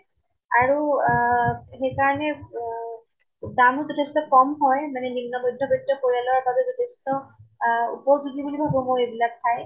আৰু আহ সেই কাৰণে উম দামো যথেষ্ট কম হয়। মানে নিম্ন মৈধ্য়্বৃত্ত পৰিয়ালৰ বাবে যথেষ্ট আহ উপযোগি বুলি ভাবো মই এইবিলাক ঠাই।